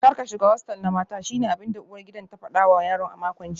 Kar ka shiga hostel na mata shine abinda uwar gidan ta fada wa yaron a makon jiya